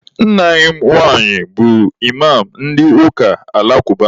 Nna enyi m nwaanyị bụ Ịmam ndị ụka alakụba.